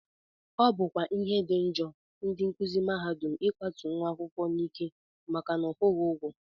Ọ bụkwa ihe dị njọ ndị nkụzi mahadum ịkwatu nwa akwụkwọ n'ike maka na ọ kwụghị ụgwọ